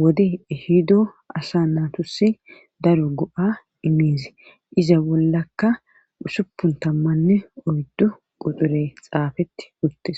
wode ehido asa natusi daro go7a imiizi iza bollaka usupun tammanne oyddu qoxure xaafeti uttes.